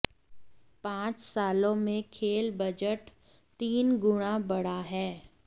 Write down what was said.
पांच सालों में खेल बजट तीन गुणा बढ़ा है